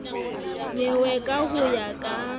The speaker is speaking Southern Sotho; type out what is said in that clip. nyewe ka ho ya ka